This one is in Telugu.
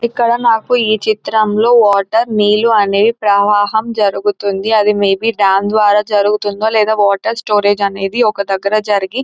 ఇక్కడ నాకు ఈ చిత్రం లో వాటర్ నీలు అనేవి ప్రవాహం జరుగుతుంది అది మే బి డాం ద్వారా జరుగుతుందో లేదా వాటర్ స్టోరేజ్ అనేది ఒక దగ్గర జరిగి--